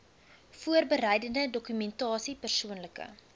voorbereidende dokumentasie persoonlike